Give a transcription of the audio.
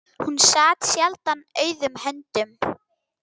Hún sat sjaldan auðum höndum.